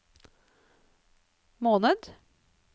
måned